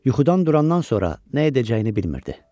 Yuxudan durandan sonra nə edəcəyini bilmirdi.